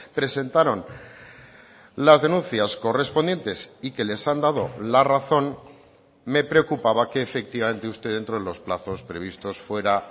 presentaron las denuncias correspondientes y que les han dado la razón me preocupaba que efectivamente usted dentro de los plazos previstos fuera